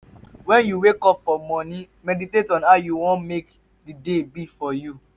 when you wake up for morning meditate on how you won make di day be for you